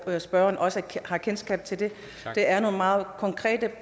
at spørgeren også har kendskab til dem der er nogle meget konkrete